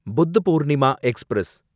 Buddh Purnima express